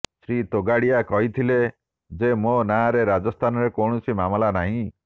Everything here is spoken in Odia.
ଶ୍ରୀ ତୋଗାଡ଼ିଆ କହିଥିଲେ ଯେ ମୋ ନାଁରେ ରାଜସ୍ଥାନରେ କୌଣସି ମାମଲା ନାହିଁ